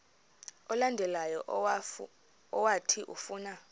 olandelayo owathi ufuna